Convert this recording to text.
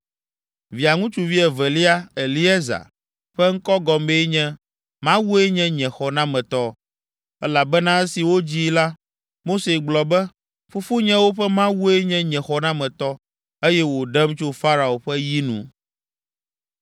Via ŋutsuvi evelia, Eliezer, ƒe ŋkɔ gɔmee nye, “Mawue nye nye xɔnametɔ,” elabena esi wodzii la, Mose gblɔ be, “Fofonyewo ƒe Mawue nye nye xɔnametɔ, eye wòɖem tso Farao ƒe yi nu.”